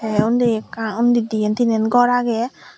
te undi ekka undi diyen tinen gor agey.